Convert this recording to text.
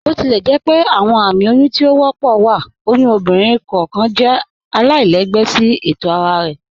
Botilẹjẹpẹ awọn ààmì oyún tí o wọ́pọ̀ wa, oyún ọ̀bìnrin kọọkan jẹ̀ àlàilẹ̀gbẹ̀ sí ètò ara rẹ.